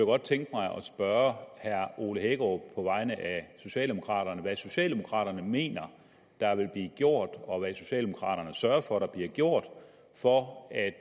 godt tænke mig at spørge herre ole hækkerup på vegne af socialdemokraterne hvad socialdemokraterne mener der vil blive gjort og hvad socialdemokraterne sørger for der bliver gjort for at